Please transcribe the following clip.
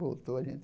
Voltou a gente.